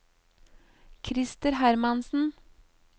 Krister Hermansen